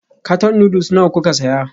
Karton noodles nawa kuka saya?